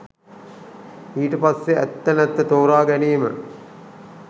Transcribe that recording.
ඊට පස්සේ ඇත්ත නැත්ත තෝරාගැනීම